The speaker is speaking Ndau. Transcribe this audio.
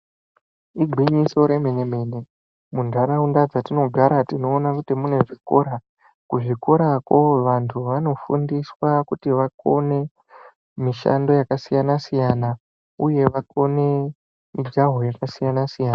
Igwinyiso remene-mene munharaunda dzatinogara tinoona kuti munezvikora. Kuzvikorako vantu vanofundiswa kuti vakone mishando yakasiyana-siyana, uye vakone mijaho yakasiyana-siyana.